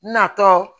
Natɔ